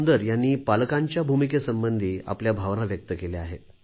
सुंदर यांनी पालकांच्या भूमिकेसंबंधी आपल्या भावना व्यक्त केल्या आहेत